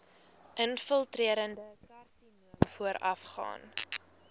infiltrerende karsinoom voorafgaan